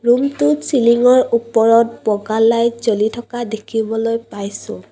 ৰুমটোত চিলিঙৰ ওপৰত বগা লাইট জ্বলি থকা দেখিবলৈ পাইছোঁ।